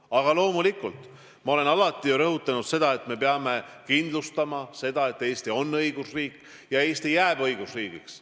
Aga loomulikult, ma olen alati rõhutanud, et me peame kindlustama selle, et Eesti on õigusriik ja Eesti jääb õigusriigiks.